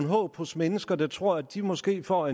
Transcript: håb hos mennesker der tror at de måske får